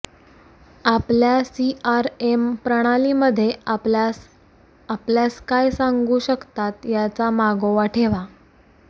आपल्या सीआरएम प्रणालीमध्ये आपल्यास आपल्यास काय सांगू शकतात याचा मागोवा ठेवा